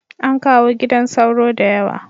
An kawo gidan sauro da yawa